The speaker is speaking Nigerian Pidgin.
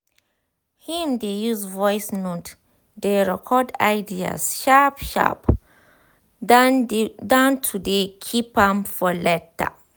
him dey use voice note dey record ideas sharp sharp dan to dey keep am for later